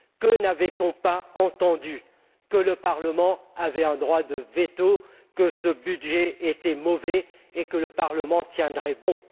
Combien de fois n'a t on pas entendu que le Parlement avait un droit de veto, que ce budget était mauvais et que le Parlement tiendrait bon.